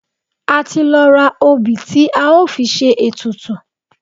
A ti lọ ra òbì tí a ó fi ṣe ètùtù.